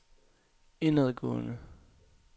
indadgående